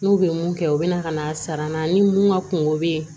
N'u bɛ mun kɛ u bɛ na ka na sara na ni mun ka kunko bɛ ye